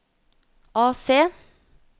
AC